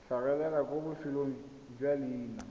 tlhagelela kwa bofelong jwa leina